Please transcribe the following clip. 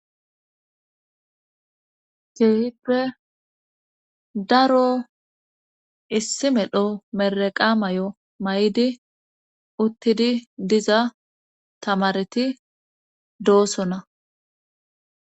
Keehippe daro issi medho meraqa may7o may7di uttidi diza tamareti doosona